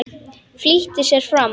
Flýtti sér fram.